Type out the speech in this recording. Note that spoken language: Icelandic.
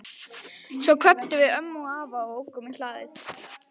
Svo kvöddum við ömmu og afa og ókum úr hlaði.